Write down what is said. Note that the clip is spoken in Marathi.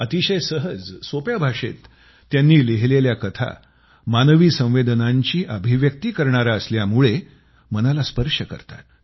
अतिशय सहज सोप्या भाषेत त्यांनी लिहिलेल्या कथा मानवी संवेदनांची अभिव्यक्ती करणाऱ्या असल्यामुळं मनाला स्पर्श करतात